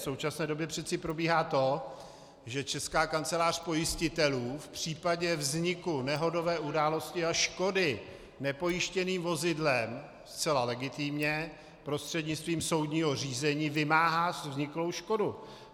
V současné době přece probíhá to, že Česká kancelář pojistitelů v případě vzniku nehodové události a škody nepojištěným vozidlem zcela legitimně prostřednictvím soudního řízení vymáhá vzniklou škodu.